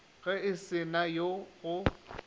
ge e se na go